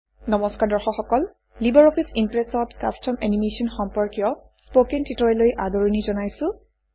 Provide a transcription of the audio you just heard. নমস্কাৰ দৰ্শক সকল লিবাৰঅফিছ ইমপ্ৰেছত কাষ্টম এনিমেশ্যন কাষ্টম এনিমেচন সম্পৰ্কীয় স্পকেন টিউটৰিয়েললৈ আদৰণি জনাইছোঁ